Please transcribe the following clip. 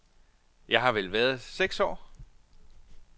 Jeg har vel været seks år.